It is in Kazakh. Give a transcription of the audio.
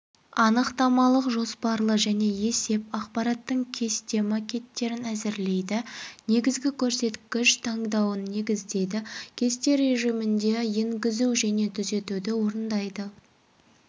анықтамалық жоспарлы және есеп ақпараттың кесте макеттерін әзірлейді негізгі көрсеткіш таңдауын негіздейді кесте режимінде енгізу және түзетуді орындайды